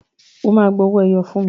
O ma gba owó ẹyọ fún mi!